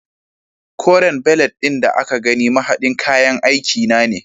Koren belet ɗin da ka gani mahaɗin kayan aiki na ne.